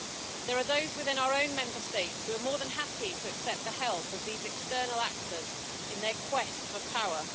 There are those within our own Member States who are more than happy to accept the help of these external actors in their quest for power.